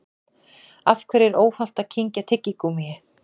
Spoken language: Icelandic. Af hverju er óhollt að kyngja tyggigúmmíi?